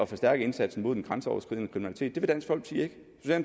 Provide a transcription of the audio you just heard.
forstærke indsatsen mod den grænseoverskridende kriminalitet